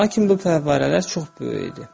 Lakin bu fəvvarələr çox böyük idi.